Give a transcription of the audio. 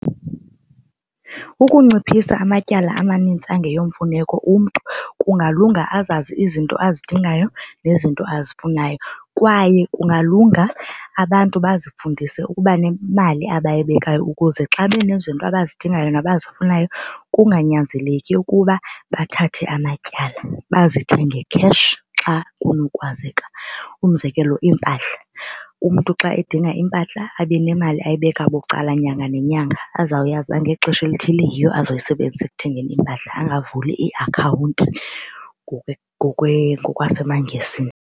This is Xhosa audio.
Ukunciphisa amatyala amanintsi angeyomfuneko umntu kungalunga azazi izinto azidingayo nezinto azifunayo. Kwaye kungalunga abantu bazifundise ukuba nemali abayibekayo ukuze xa benezinto abazidingayo nabazifunayo kunganyanzeleki ukuba bathathe amatyala, bazithenge cash xa kunokwazeka. Umzekelo iimpahla, umntu xa edinga iimpahla abe nemali ayibeka bucala nyanga nenyanga azawuyazi uba ngexesha elithile yiyo azoyisebenzisa ekuthengeni iimpahla angavuli ii-account ngokwasemaNgesini.